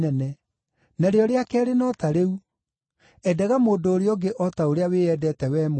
Narĩo rĩa keerĩ no ta rĩu: ‘Endaga mũndũ ũrĩa ũngĩ o ta ũrĩa wĩyendete wee mwene.’